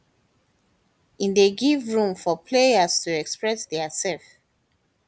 e dey give room for players to express diasef